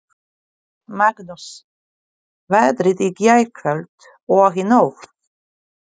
Magnús: Veðrið í gærkvöld og í nótt?